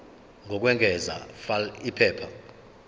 lokwengeza fal iphepha